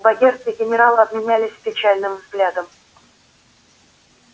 богерт и генерал обменялись печальным взглядом